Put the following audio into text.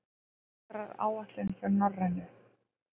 Vetraráætlun hjá Norrænu